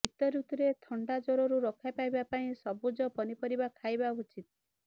ଶୀତ ଋତୁରେ ଥଣ୍ଡା ଜ୍ବରରୁ ରକ୍ଷା ପାଇବା ପାଇଁ ସବୁଜ ପନିପରିବା ଖାଇବା ଉଚିତ